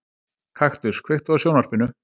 Kaktus, kveiktu á sjónvarpinu.